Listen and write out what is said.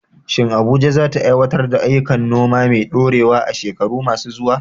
Shin Abuja za ta aiwatar da ayyukan noma mai ɗorewa a shekaru masu zuwa?